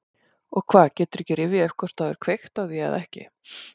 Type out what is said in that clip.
Og hvað, geturðu ekki rifjað upp hvort þú hafir kveikt á því eða ekki?